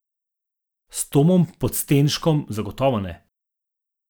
S Tomom Podstenškom zagotovo ne.